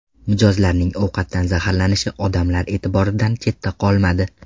Mijozlarning ovqatdan zaharlanishi odamlar e’tiboridan chetda qolmadi.